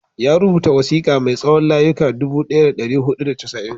Ya rubuta wasiƙa mai tsawon layuka dubu ɗaya da ɗari biyu da casa'in.